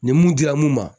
Ni mun dira n ma